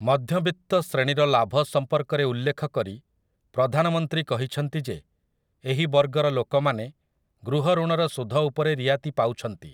ମଧ୍ୟବିତ୍ତ ଶ୍ରେଣୀର ଲାଭ ସମ୍ପର୍କରେ ଉଲ୍ଲେଖକରି ପ୍ରଧାନମନ୍ତ୍ରୀ କହିଛନ୍ତି ଯେ ଏହି ବର୍ଗର ଲୋକମାନେ ଗୃହଋଣର ସୁଧ ଉପରେ ରିଆତି ପାଉଛନ୍ତି ।